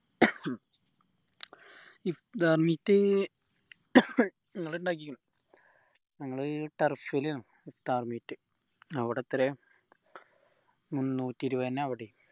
ഇഫ്താർ meet ഞങ്ങൾ ഇണ്ടാക്കീക്കണ് ഞങ്ങൾ turf ൽ ആണ് ഇഫ്താർ meet അവിടെ എത്രയാ മുന്നൂറ്റി ഇരുപത് തന്നെയാ അവിടെയും